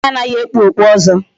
Nwaanyị anaghị ekpu okpu ọzọ.